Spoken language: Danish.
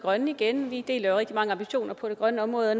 grønne igen vi deler jo rigtig mange ambitioner på det grønne område